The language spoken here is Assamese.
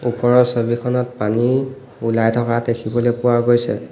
ওপৰৰ ছবিখনত পানী ওলাই থকা দেখিবলৈ পোৱা গৈছে।